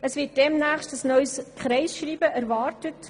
Es wird demnächst ein neues Kreisschreiben erwartet.